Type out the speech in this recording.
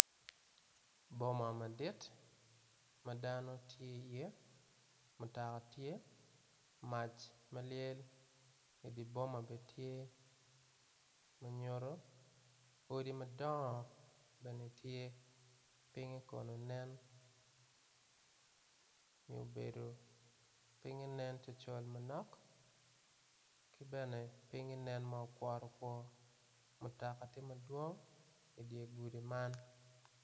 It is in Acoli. Boma madi madano tye i ye mutoka tye mac malyel i di boma bene tye manyuto odi madongo bene tye pinge kone nen nyo obedo pinge nen cocol manok kibene pinge nen makworo kwor mutoka tye mapol idyer gudi man.